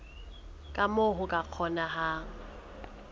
ka moo ho ka kgonehang